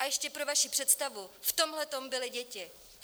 A ještě pro vaši představu - v tomhle byly děti.